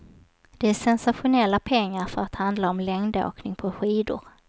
Det är sensationella pengar för att handla om längdåkning på skidor.